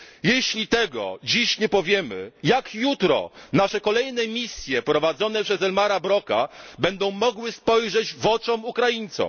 Jeśli tego dziś nie powiemy, jak jutro nasze kolejne misje prowadzone przez Elmara Broka będą mogły spojrzeć w oczy Ukraińcom?